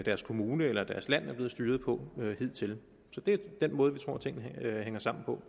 deres kommune eller land er blevet styret på hidtil så det er den måde vi tror tingene hænger sammen på